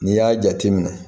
N'i y'a jate minɛ